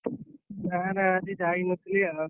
ନା ନା ଆଜି ଯାଇ ନଥିଲି ଆଉ।